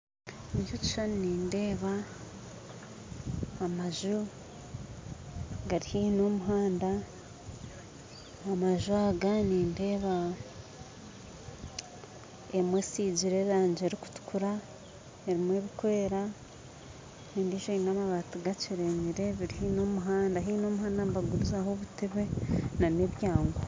Eki ekishushani nindeeba amaju gari haihi nomuhanda amaju aga nindeeba emwe esigire erangi erikutukura emwe erikwera endiijo eine amabaati gakyerenyire eri haihi nomuhanda haihi nomuhanda nibagurizaho obuteebe nana ebyangu